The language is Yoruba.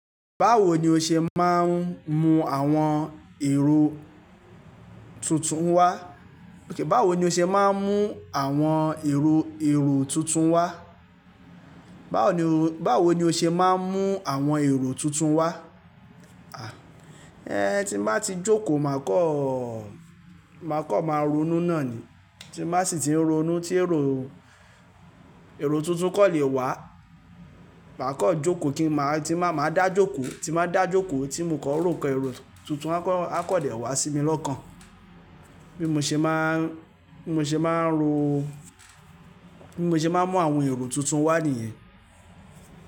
Báwo ni o ṣe máa ń mú àwọn èrò tuntun wá? Báwo ni o ṣe máa ń mú àwọn èrò tuntun wá? Báwo ni, báwo ni o ṣe máa ń mú àwọn èrò tuntun wá? A, ẹ́hn tí n ba ti jókòó máa kọ́, máa kan máa ronú náà ni. Tí n bá sì ti ń ronú tí èrò, èrò tuntun kan le wá. Màá kan jókòó kí màá, tí máa máa dá jókòó, tí n ba dá jókòó tí mò kan ró nkan èrò tuntun a kan, a kan dẹ̀ wá sí mi lọ́kàn. Bí mo ṣe máa ń, bí mo ṣe máa ń ro, bí mo ṣe máa ń mú àwọn èrò tuntun wá nìyẹn.